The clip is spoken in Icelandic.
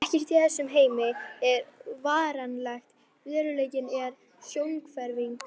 Ekkert í þessum heimi er varanlegt, veruleikinn er sjónhverfing.